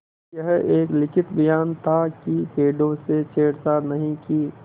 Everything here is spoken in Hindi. यह एक लिखित बयान था कि पेड़ों से छेड़छाड़ नहीं की